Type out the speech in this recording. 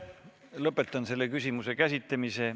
Lõpetan selle küsimuse käsitlemise.